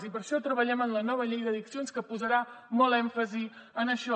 i per això treballem en la nova llei d’addiccions que posarà molt èmfasi en això